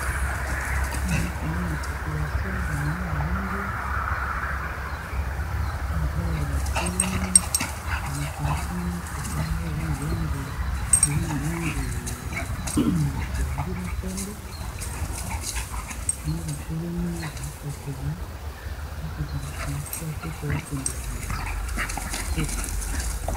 Awa nakomona population bamwa bavandi mibali batelemi na mopanzi kuna mutuka eza na langi ya ya pondu na pembe bango batelemi bakozela transport pote bakende na wenze kotekisa.